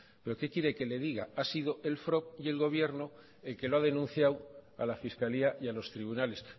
pero qué quiere que le diga ha sido el frob y el gobierno el que lo ha denunciado a la fiscalía y a los tribunales